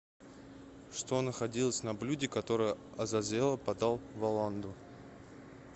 что находилось на блюде которое азазелло подал воланду